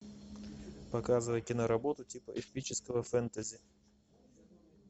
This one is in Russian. показывай киноработу типа эпического фэнтези